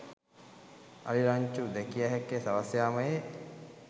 අලි රංචු දැකිය හැක්කේ සවස් යාමයේ